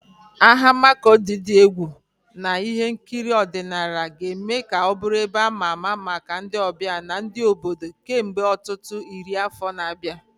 Ahịa Makurdi dị egwu na ihe nkiri ọdịnala ga-eme ka ọ bụrụ ebe ama ama maka ndị ọbịa na ndị obodo kemgbe ọtụtụ iri afọ na-abịa.